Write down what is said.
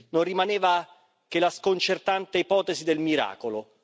non rimaneva che la sconcertante ipotesi del miracolo.